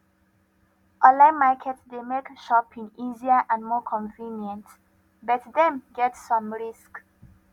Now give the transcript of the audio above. online market dey make shopping easier and more convenient but dem get some risk